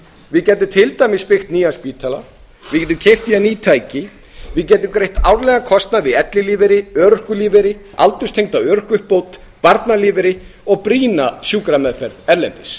við gætum til dæmis byggt nýjan spítala við gætum keypt í hann ný tæki við gætum greitt árlegan kostnað við ellilífeyri örorkulífeyri aldurstengda örorkuuppbót barnalífeyri og brýna sjúkrameðferð erlendis